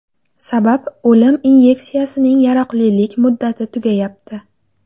Sabab o‘lim inyeksiyasining yaroqlilik muddati tugayapti.